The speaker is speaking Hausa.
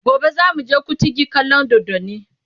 gobe zamu je kutigi kallan doddani